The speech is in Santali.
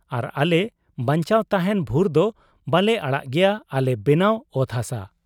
ᱟᱨ ᱟᱞᱮ ᱵᱟᱧᱪᱟᱣ ᱛᱟᱦᱮᱸᱱ ᱵᱷᱩᱨᱫᱚ ᱵᱟᱞᱮ ᱟᱲᱟᱜᱽ ᱜᱮᱭᱟ ᱟᱞᱮ ᱵᱮᱱᱟᱣ ᱚᱛ ᱦᱟᱥᱟ ᱾